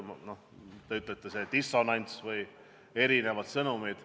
Te ütlete, et on dissonants või erinevad sõnumid.